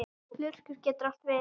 Lurkur getur átt við